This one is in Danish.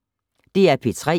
DR P3